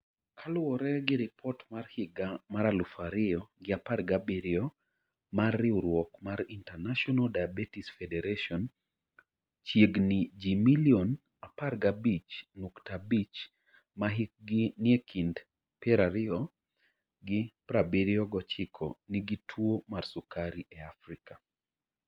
Kaluwore gi ripot mar higa mar aluf ariyo gi apar gabirio mar riwruok mar International Diabetes Federation, chiegni ji milion 15.5 ma hikgi nie kind 20 gi 79 nigi tuwo mar sukari e Afrika.